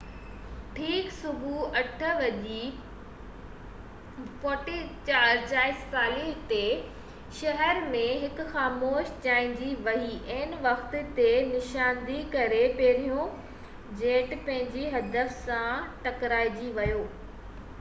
ٺيڪ صبح 8:46 بجي شهر ۾ هڪ خاموشي ڇائنجي وئي عين وقت تي نشاندهي ڪري پهريون جيٽ پنهنجي هدف سان ٽڪرائجي ويو